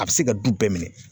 A be se ka du bɛɛ minɛ